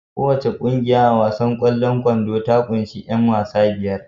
Kowace ƙungiya a wasan kwallon kwando ta kunshi 'yan wasa biyar